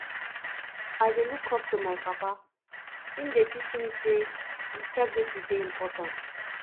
i dey look up to my papa im dey teach me sey integrity dey important